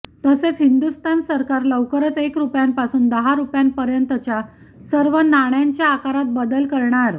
तसेच हिंदुस्थान सरकार लवकरच एक रुपयांपासून दहा रुपयांपर्यतच्या सर्व नाण्यांच्या आकारात बदल करणार